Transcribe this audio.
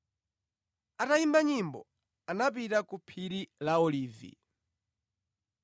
Atayimba nyimbo, anapita ku phiri la Olivi.